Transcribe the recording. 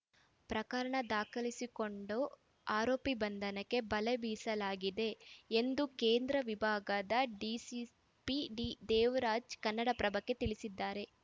ಪ್ರಕರಣ ದಾಖಲಿಸಿಕೊಂಡು ಆರೋಪಿ ಬಂಧನಕ್ಕೆ ಬಲೆ ಬೀಸಲಾಗಿದೆ ಎಂದು ಕೇಂದ್ರ ವಿಭಾಗದ ಡಿಸಿಪಿ ಡಿದೇವರಾಜ್‌ ಕನ್ನಡಪ್ರಭಕ್ಕೆ ತಿಳಿಸಿದ್ದಾರೆ